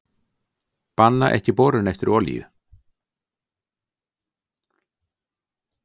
Banna ekki borun eftir olíu